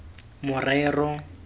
morero